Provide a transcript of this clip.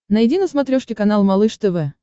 найди на смотрешке канал малыш тв